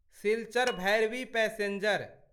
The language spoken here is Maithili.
सिल्चर भैरबी पैसेंजर